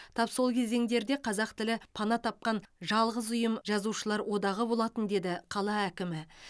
тап сол кезеңдерде қазақ тілі пана тапқан жалғыз ұйым жазушылар одағы болатын деді қала әкімі